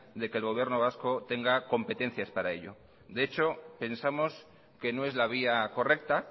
de que el gobierno vasco tenga competencias para ello de hecho pensamos que no es la vía correcta